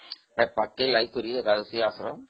ସେ ପାଖକୁ ଲାଗିକି ଏକାଦଶୀ ଆଶ୍ରମ